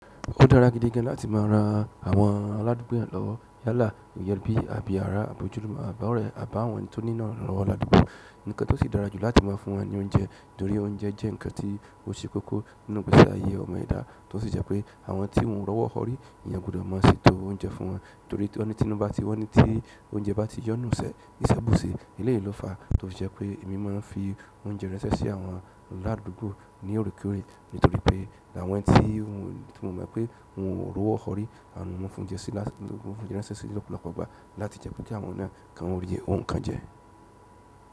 Ó dára gidi gan láti má a ra àwọn aládùúgbò eyan lowo, yálà, òje ebí, àbí àrá, àbí ojúlumo, àbí ọ̀rẹ́, àbá àwọn tó nílò ìrànlọ́wọ́ ládùúgbò. Ǹkan tó sì dára jù láti má a fún wọn ní oúnjẹ, torí oúnjẹ jẹ́ ǹkan tí ó ṣe kókó nínú ìgbésí ayé ọmọ ẹ̀dá, tó sì jẹ́ pé àwọn tí n wọ́n rọ́wọ́ họrí eeyan gbudo má a setó oúnjẹ fún wọn, torí tí wọ́n ní tí nínú bá ti wọ́n ní tí oúnjẹ bá ti yọ́ nínú iise, iṣẹ́ bù se eléyìí ló fàá tó fi jẹ́ pé èmi máa n fi oúnjẹ ránṣẹ́ sí àwọn aládùúgbò ní oreekore, nítorí pé àwọn tí mo mọ̀ pé wọn ò rọ́wọ́ họrí, mo n fi oúnjẹ ránṣẹ́ si ni ọ́pọ̀lọpọ̀ ìgbà láti jẹ́ kí àwọn náà ki wọn ri nkan jẹ.